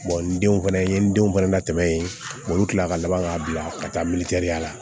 n denw fana n ye n denw fana latɛmɛ yen olu kilala ka laban k'a bila ka taa ya la